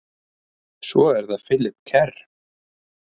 Svo er það Philip Kerr.